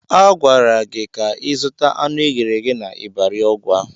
Agwara gị ka ịzụta anụ eghere eghe n'Ịbari Ọgwa!